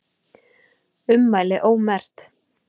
Ummæli ómerkt